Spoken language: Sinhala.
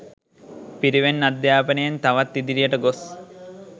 පිරිවෙන් අධ්‍යාපනයෙන් තවත් ඉදිරියට ගොස්